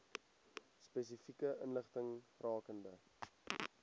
spesifieke inligting rakende